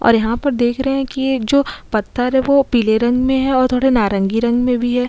और यहाँ पर देख रहें है की ये जो पत्थर है वो पीले रंग मे है और थोड़े नारंगी रंग मे भी है।